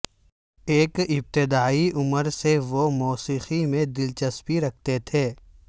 ایک ابتدائی عمر سے وہ موسیقی میں دلچسپی رکھتے تھے